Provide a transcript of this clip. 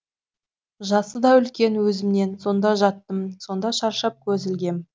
жасы да үлкен өзімнен сонда жаттым сонда шаршап көз ілгем